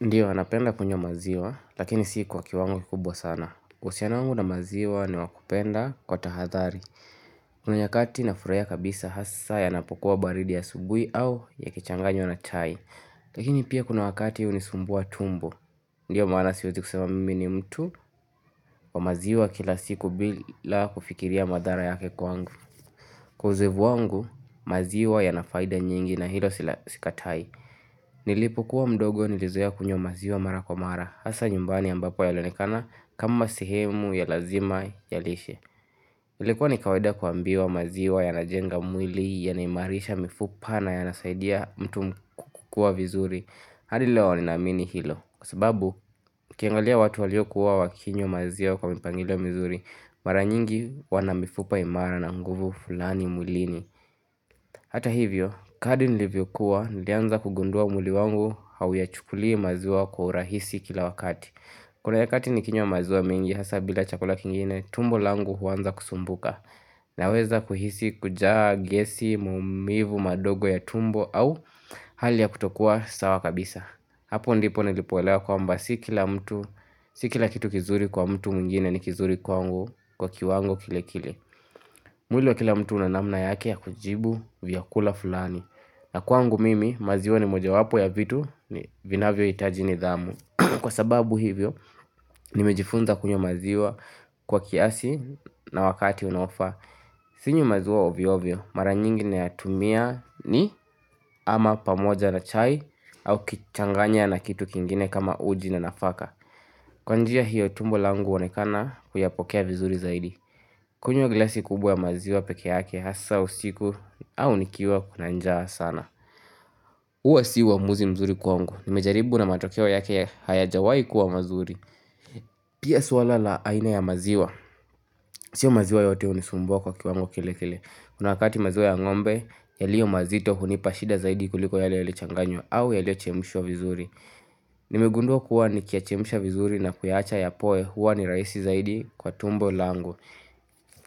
Ndiyo napenda kunywa maziwa lakini si kwa kiwango kikubwa sana uhusiano wangu na maziwa ni wa kupenda kwa tahadhari Kuna nyakati nafurahia kabisa hasa yanapokuwa baridi ya asubui au yakichanganywa na chai Lakini pia kuna wakati hunisumbua tumbo Ndiyo maana siwezi kusema mimi ni mtu wa maziwa kila siku bila kufikiria madhara yake kwangu Kuzivu wangu maziwa yana faida nyingi na hilo sikatai Nilipokuwa mdogo nilizoea kunywa maziwa mara kwa mara Hasa nyumbani ambapo yalionekana kama sehemu ya lazima ya lishe Ilikuwa ni kawada kuambiwa maziwa ya najenga mwili yanaimarisha mifupa na yanasaidia mtu kukua vizuri hadi leo ninaamini hilo Kwa sababu ukiangalia watu waliokuwa wakinywa maziwa kwa mipangilo mizuri Mara nyingi wana mifupa imara na nguvu fulani mwilini Hata hivyo, kadri nilivyokuwa, nilianza kugundua mwili wangu hauyachukulii maziwa kwa urahisi kila wakati. Kuna nyakati nikinywa maziwa mengi, hasa bila chakula kingine, tumbo langu huanza kusumbuka. Naweza kuhisi, kujaa, gesi, maumivu, madogo ya tumbo au hali ya kutokuwa sawa kabisa. Hapo ndipo nilipoelewa kwamba si kila mtu, si kila kitu kizuri kwa mtu mwingine ni kizuri kwangu kwa kiwango kile kile. Mwili wa kila mtu una namna yake ya kujibu vyakula fulani na kwangu mimi maziwa ni mojawapo ya vitu ni vinavyohitaji nidhamu Kwa sababu hivyo nimejifunza kunywa maziwa kwa kiasi na wakati unaofaa Sinywi maziwa ovyovyo mara nyingine nayatumia ni ama pamoja na chai au ukichanganya na kitu kingine kama uji na nafaka Kwa njia hiyo tumbo langu huonekana kuyapokea vizuri zaidi kunywa glasi kubwa ya maziwa peke yake hasa usiku au nikiwa kuna njaa sana. Huwa si uamuzi mzuri kwangu. Nimejaribu na matokeo yake hayajawai kuwa mazuri. Pia suala la aina ya maziwa. Sio maziwa yote hunisumbua kwa kiwango kile kile. Kuna wakati maziwa ya ngombe, yaliyo mazito hunipa shida zaidi kuliko yale yalichanganywa au yaliyochemishwa vizuri. Nimegundua kuwa nikiyachemsha vizuri na kuyaacha yapoe huwa ni rahisi zaidi kwa tumbo langu.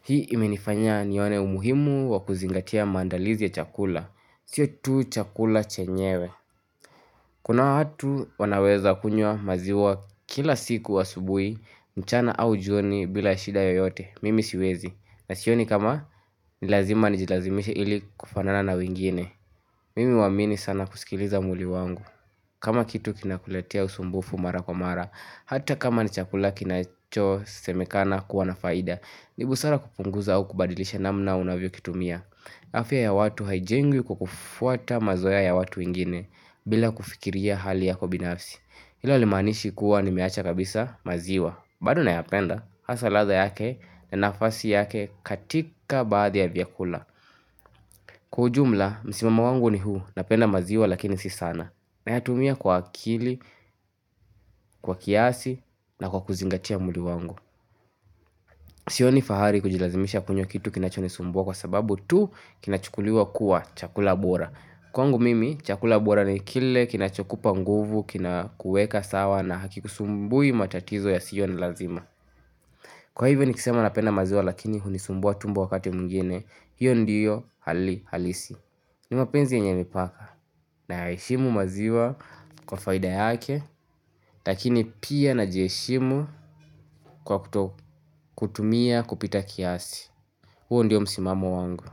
Hii imenifanya nione umuhimu wa kuzingatia maandalizi ya chakula siyo tu chakula chenyewe Kuna watu wanaweza kunywa maziwa kila siku wa asubuhi mchana au jioni bila shida yoyote Mimi siwezi na sioni kama ni lazima nijilazimishe ili kufanana na wengine Mimi huamini sana kusikiliza mwili wangu kama kitu kinakuletea usumbufu mara kwa mara Hata kama ni chakula kinachosemekana kuwa na faida ni busara kupunguza au kubadilisha namna unavyokitumia afya ya watu haijengwi kwa kufuata mazoea ya watu wengine bila kufikiria hali yako binafsi Hilo halimaanishi kuwa nimeacha kabisa maziwa bado nayapenda, hasa ladha yake na nafasi yake katika baadhi ya vyakula Kwa ujumla, msimamo wangu ni huu napenda maziwa lakini si sana Nayatumia kwa akili, kwa kiasi na kwa kuzingatia mwili wangu Sioni fahari kujilazimisha kunywa kitu kinachonisumbua kwa sababu tu kinachukuliwa kuwa chakula bora. Kwangu mimi, chakula bora ni kile kinachokupa nguvu, kinakueka sawa na hakikusumbui matatizo yasiyo ni lazima. Kwa hivyo nikisema napenda maziwa lakini hunisumbua tumbo wakati mwingine, hiyo ndiyo hali halisi. Ni mapenzi yenye mipaka nayaheshimu maziwa kwa faida yake, lakini pia najiheshimu kwa kutotumia kupita kiasi. Huu ndiyo msimamo wangu.